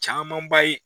Camanba ye